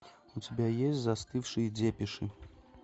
у тебя есть застывшие депеши